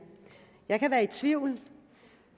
jeg kan være i tvivl